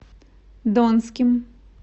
донским